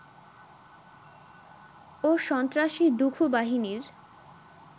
ও সন্ত্রাসী দুখু বাহিনীর